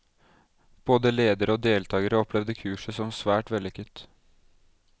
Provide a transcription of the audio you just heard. Både ledere og deltakere opplevde kurset som svært vellykket.